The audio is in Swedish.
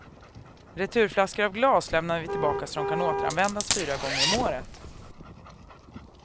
Returflaskor av glas lämnar vi tillbaka så att de kan återanvändas fyra gånger om året.